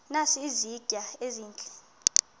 nazi izitya ezihle